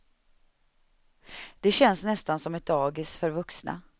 Det känns nästan som ett dagis för vuxna.